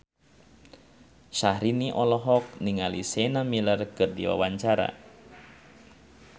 Syahrini olohok ningali Sienna Miller keur diwawancara